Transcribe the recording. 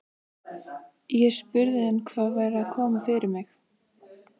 Ég spurði hann hvað væri að koma fyrir mig.